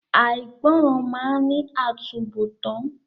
Àìgbọràn máa ní àtúnbọ̀tán.